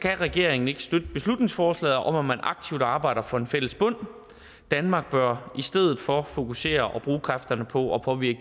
kan regeringen ikke støtte beslutningsforslaget om at man aktivt arbejder for en fælles bund danmark bør i stedet for fokusere og bruge kræfterne på at påvirke